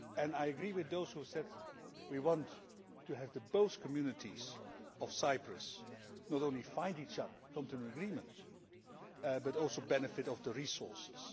I agree with those who said we want to have both communities of Cyprus not only find each other and come to an agreement but also benefit from the resources.